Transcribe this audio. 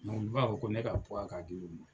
n b'a fɔ ko ne ka karin de